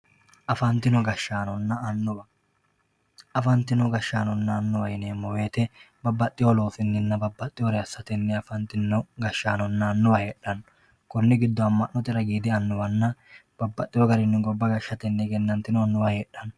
Afantino gashshaanonna annuwa, afantino gashshaanonna annuwa yineemmo woyte babbaxewo loosininna babbaxewore assatenni afantino gashshaanonna annuwa heedhano koni giddoni ama'note widiidi annuwa noonna babbaxxewo garinni gobba gashshate afantino annuwa heedhano.